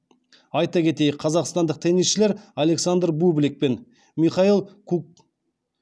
айта кетейік қазақстандық теннисшілер александр бублик пен михаил кук